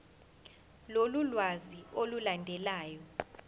lolu lwazi olulandelayo